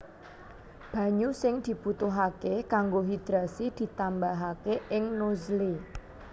Banyu sing dibutuhaké kanggo hidrasi ditambahaké ing nozzle